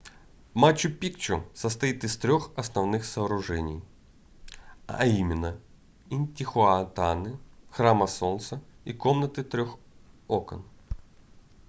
мачу-пикчу состоит из трёх основных сооружений а именно интихуатаны храма солнца и комнаты трёх окон